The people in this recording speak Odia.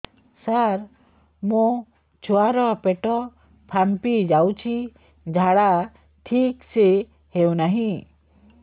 ସାର ମୋ ଛୁଆ ର ପେଟ ଫାମ୍ପି ଯାଉଛି ଝାଡା ଠିକ ସେ ହେଉନାହିଁ